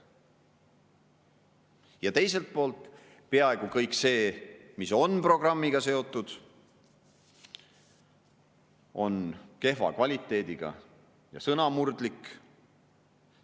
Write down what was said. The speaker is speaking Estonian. Ja teiselt poolt, peaaegu kõik see, mis on programmiga seotud, on kehva kvaliteediga ja sõnamurdlik.